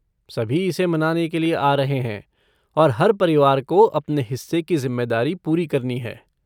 सभी इसे मनाने के लिए आ रहे हैं और हर परिवार को अपने हिस्से की जिम्मेदारी पूरी करनी है।